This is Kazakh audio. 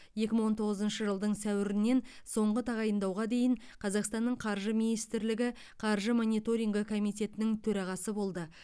екі мың он тоғызыншы жылдың сәуірінен соңғы тағайындауға дейін қазақстанның қаржы министрлігі қаржы мониторингі комитетінің төрағасы болды